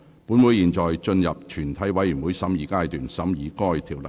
本會現進入全體委員會審議階段，審議該條例草案。